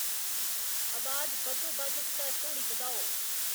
अबाज बद्धोबद्ध स्तर धोड़ी बधाओ